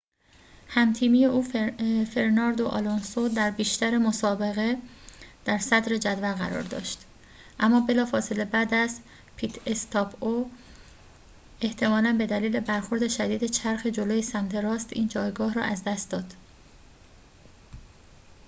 هم تیمی او فرناندو آلونسو در بیشتر مسابقه در صدر جدول قرار داشت اما بلافاصله بعد از پیت استاپ او احتمالاً به دلیل برخورد شدید چرخ جلوی سمت راست این جایگاه را از دست داد